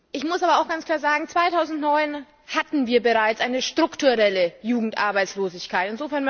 Ich muss aber auch ganz klar sagen 2009 hatten wir bereits eine strukturelle Jugendarbeitslosigkeit.